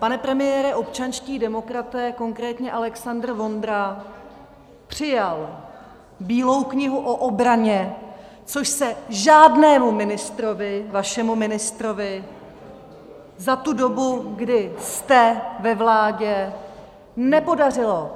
Pane premiére, občanští demokraté, konkrétně Alexandr Vondra, přijal Bílou knihu o obraně, což se žádnému ministrovi, vašemu ministrovi, za tu dobu, kdy jste ve vládě, nepodařilo.